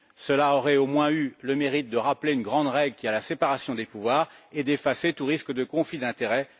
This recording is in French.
Cela aurait au moins eu le mérite de rappeler une grande règle qui est la séparation des pouvoirs et d'effacer tout risque de conflit d'intérêts.